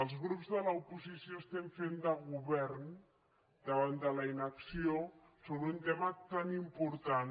els grups de l’oposició estem fent de govern davant de la inacció sobre un tema tan important